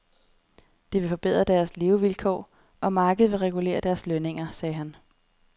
Det vil forbedre deres levevilkår, og markedet vil regulere deres lønninger, sagde han.